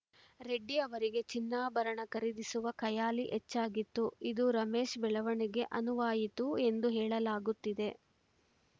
ರೆಡ್ಡಿ ಅವರಿಗೆ ಚಿನ್ನಾಭರಣ ಖರೀದಿಸುವ ಖಯಾಲಿ ಹೆಚ್ಚಾಗಿತ್ತು ಇದು ರಮೇಶ್‌ ಬೆಳವಣಿಗೆ ಅನುವಾಯಿತು ಎಂದು ಹೇಳಲಾಗುತ್ತಿದೆ